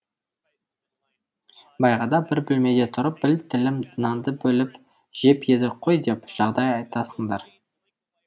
баяғыда бір бөлмеде тұрып бір тілім нанды бөліп жеп едік қой деп жағдай айтасыңдар